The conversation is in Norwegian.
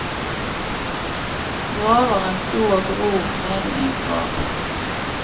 Graveren sto og grov nede i en grav.